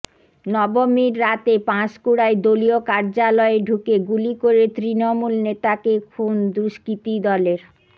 নবমীর রাতে পাঁশকুড়ায় দলীয় কার্যালয়ে ঢুকে গুলি করে তৃণমূল নেতাকে খুন দুষ্কৃতীদলের